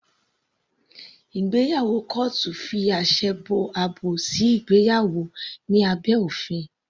Ìgbéyàwó kọ́ọ́tù fi àṣẹ àti àbò sí ìgbéyàwó ní abẹ́ òfin.